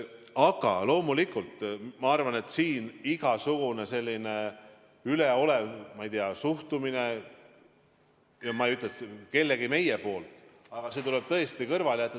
Aga loomulikult ma arvan, et siin tuleb igasugune üleolev suhtumine – ja ma ei ütle, et kellegi meie poolt – tõesti kõrvale jätta.